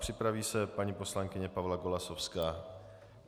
Připraví se paní poslankyně Pavla Golasowská.